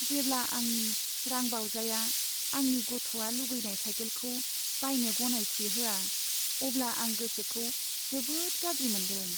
जेब्ला आंनि रांबावजाया आंनि गथ'आ लुगैनाय साइकेलखौ बायनो गनायथि होआ, अब्ला आं गोसोखौ जोबोद गाज्रि मोनदों।